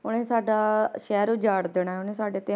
ਉਹਨੇ ਸਾਡਾ ਸ਼ਹਿਰ ਉਜਾੜ ਦੇਣਾ ਹੈ, ਉਹਨੇ ਸਾਡੇ ਤੇ